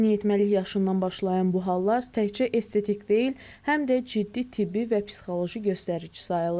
Yeniyetməlik yaşından başlayan bu hallar təkcə estetik deyil, həm də ciddi tibbi və psixoloji göstərici sayılır.